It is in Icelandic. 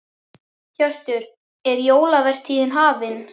Hjörtur, er jólavertíðin hafin?